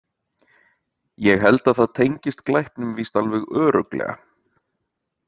Ég held að það tengist glæpnum víst alveg örugglega.